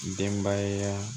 Denbaya